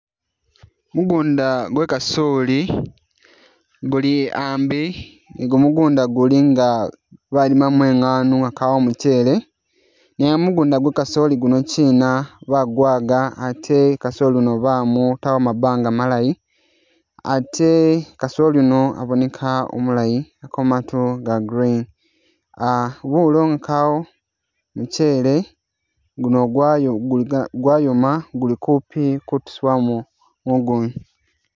Mugunda gwa’kasoli guli ambi ni gumugunda gulinga balimamo ingano nga kawo mukyele nenga mugunda gwakasoli guni kyina bagwaga ate kasoli uno bamutamo mabanga malayi ate kasoli uno aboneka umulayi aliko matu ga green, bulo nga kawo mukyele gwayoma guli kupi kutusiwamo mugunda.